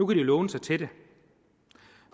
kan låne sig til det